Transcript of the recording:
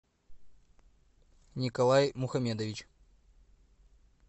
николай мухамедович